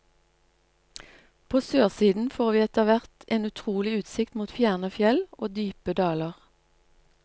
På sørsiden får vi etter hvert en utrolig utsikt mot fjerne fjell og dype daler.